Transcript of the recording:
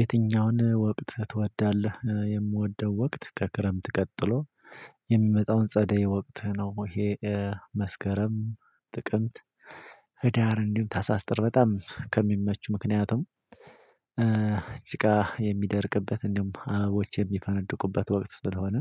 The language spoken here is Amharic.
የትኛውን ወቅት ትወድለህ? የምወደው ወቅት ከክረምት ቀጥሎ የሚመጣው ጸደይ ወቅት ነው። ይሄ መስከረም፣ ጥቅምት፣ ህዳር፣ እንዲሁም ታህሳስ፣ ጥር በጣም ከሚመቹኝ ምክንያት እ ጭቃ የሚደርቅበት፣ እንዲሁም አበቦች የሚፈንድቁበት ወቅት ስለሆነ